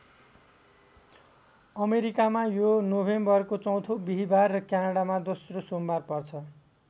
अमेरिकामा यो नोभेम्बरको चौथो बिहिबार र क्यानडामा दोस्रो सोमबार पर्छ।